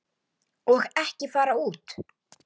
Og ekki fara út.